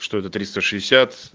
что то тристо шестьдесят